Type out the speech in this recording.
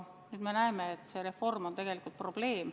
Nüüd me näeme, et see reform on tegelikult probleem.